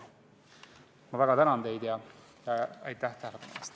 Ma väga tänan teid, aitäh tähelepanu eest!